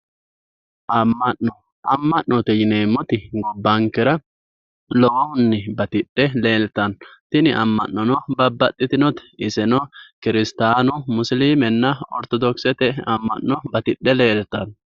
Ama'note yineemoti gobbankera tini ama'no batidhinote insano kirstaanu, musilme na oritodoxe batidhe leelittanno